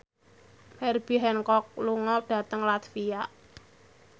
Herbie Hancock lunga dhateng latvia